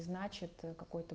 значит ээ какой-то